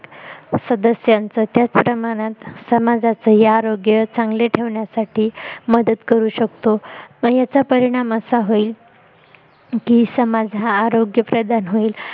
सदस्यांचा त्याचप्रमाणात समाजाचं ही आरोग्य चांगल ठेवण्यासाठी मदत करू शकतो म नंतर याचा परिणाम असा होईल की समाज हा समाज हा आरोग्य प्रधान होईल